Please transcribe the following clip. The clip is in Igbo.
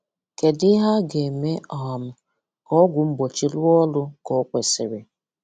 Kedụ ihe a ga-eme um ka ọ́gwụ̀ mgbochi rụọ ọrụ ka o kwesịrị?